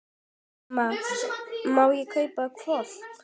Mamma, má ég kaupa hvolp?